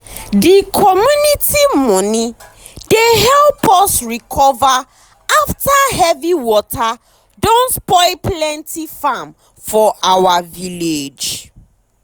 de community money dey help us recover after heavy water don spoil plenty farm for our village.